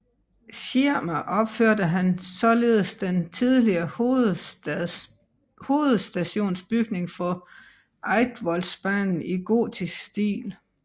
Schirmer opførte han således den tidligere hovedstationsbygning for Eidsvoldsbanen i gotisk stil